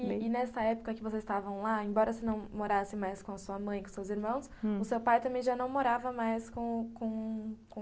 E nessa época que vocês estavam lá, embora você não morasse mais com a sua mãe e com os seus irmãos, hum, o seu pai também já não morava mais com com